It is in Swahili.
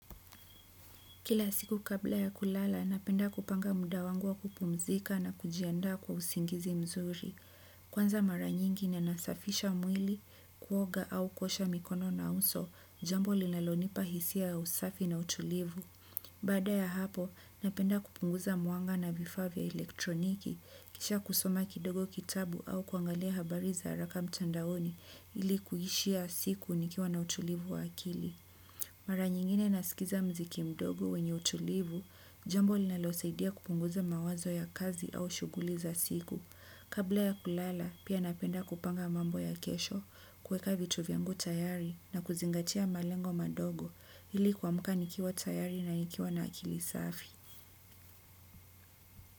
Kila siku kabla ya kulala, napenda kupanga muda wangu wa kupumzika na kujiandaa kwa usingizi mzuri. Kwanza mara nyingi na nasafisha mwili, kuoga au kuosha mikono na uso, jambo linalonipa hisia usafi na utulivu. Baada ya hapo, napenda kupunguza mwanga na vifaa vya elektroniki, kisha kusoma kidogo kitabu au kuangalia habari za haraka mtandaoni ili kuishia siku nikiwa na utulivu wa akili. Mara nyingine nasikiza muziki mdogo wenye utulivu, jambo linalo saidia kupunguza mawazo ya kazi au shughuli za siku. Kabla ya kulala, pia napenda kupanga mambo ya kesho, kuweka vitu vyangu tayari na kuzingatia malengo madogo ili kuamka nikiwa tayari na nikiwa na akili safi.